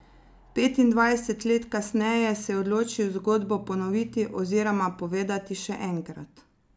Petindvajset let kasneje se je odločil zgodbo ponoviti oziroma povedati še enkrat.